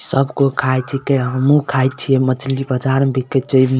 सब कोय खाय छिके हम्मू खाय छिये मछली बाजार म बिक्के छे इ म --